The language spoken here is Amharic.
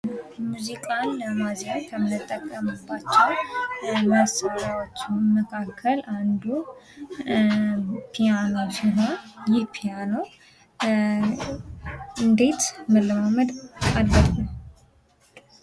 ሙዚቃን ለማዜም ከምንጠቀምባቸው መሳርያዎች መካከል አንዱ ፒያኖ ሲሆን ይህ ፒያኖ እንዴት መለማመድ አለብን?